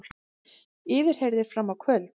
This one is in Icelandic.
Yfirheyrðir fram á kvöld